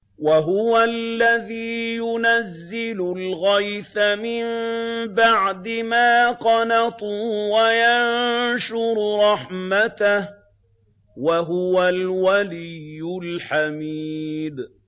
وَهُوَ الَّذِي يُنَزِّلُ الْغَيْثَ مِن بَعْدِ مَا قَنَطُوا وَيَنشُرُ رَحْمَتَهُ ۚ وَهُوَ الْوَلِيُّ الْحَمِيدُ